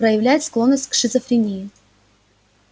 проявляет склонность к шизофрении